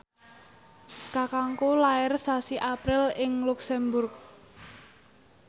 kakangku lair sasi April ing luxemburg